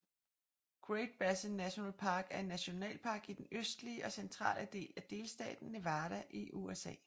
Great Basin National Park er en nationalpark i den østlig og centrale del af delstaten Nevada i USA